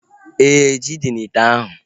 Éè, ji dị n'ite ahu